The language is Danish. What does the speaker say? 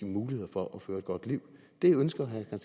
muligheder for at føre et godt liv det ønsker herre